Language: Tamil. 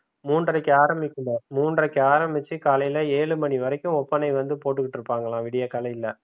மூன்றரைக்கு ஆரம்பிக்குங்க மூன்ரைக்கு ஆரம்பிச்சி காலையில ஏழு மணி வரைக்கும் ஒப்பனை வந்து போட்டுட்டு இருப்பாங்களா விடிய காலைல